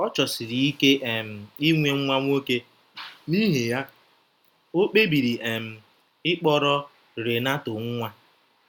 Ọ chọsiri ike um inwe nwa nwoke, n’ihi ya, o kpebiri um ịkpọrọ Renato nwa.